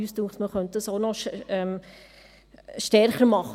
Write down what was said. Wir sind der Meinung, das könne man auch noch stärker machen.